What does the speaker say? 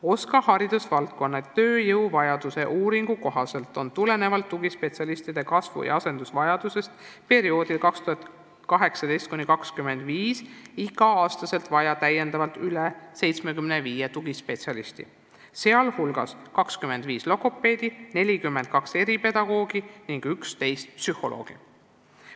OSKA haridusvaldkonna tööjõuvajaduse uuringu kohaselt on perioodil 2018–2025 igal aastal vaja täiendavalt umbes 75 tugispetsialisti, sh 25 logopeedi, 42 eripedagoogi ning 11 psühholoogi.